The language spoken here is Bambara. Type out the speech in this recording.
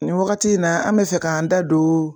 Nin wagati in na an bɛ fɛ k'an da don